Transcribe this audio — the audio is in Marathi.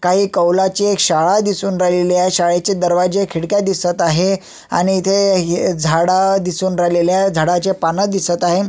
काही कौलाचे शाळा दिसून राहिलेली आहे शाळेचे दरवाजे खिडक्या दिसत आहे आणि इथे झाड दिसून राहिलेले आहे झाडाचे पान दिसत आहे.